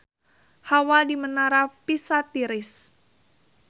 Hawa di Menara Pisa tiris